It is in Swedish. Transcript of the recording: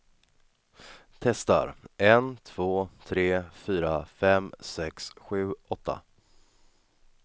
Testar en två tre fyra fem sex sju åtta.